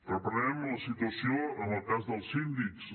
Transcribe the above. reprenem la situació en el cas dels síndics